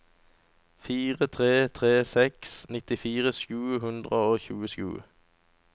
fire tre tre seks nittifire sju hundre og tjuesju